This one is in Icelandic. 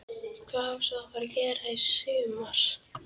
Hvað á svo að fara að gera í sumar?